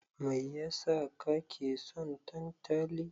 Mai ya sa kake son tantali?